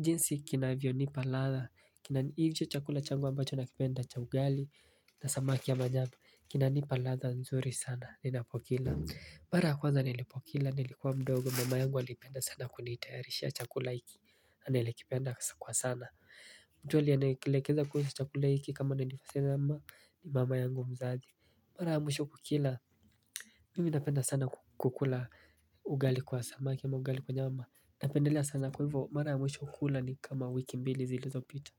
jinsi kinavyonipa ladha. Hicho chakula changu ambacho nakipenda cha ugali na samaki ya majabu. Kinanipa ladha nzuri sana ninapokila. Mara ya kwanza nilipokila nilikuwa mdogo mama yangu alipenda sana kunitayarishia chakula hiki na nilikipenda kwa sana. Mtu aliyekilekeza kuhusu chakula hiki kama nilivyosema ni mama yangu mzazi. Mara ya mwisho kukila mimi napenda sana kukula ugali kwa samaki ama ugali kwa nyama napendelea sana kwa hivyo mara ya mwisho kukula ni kama wiki mbili zilizopita.